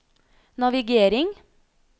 navigering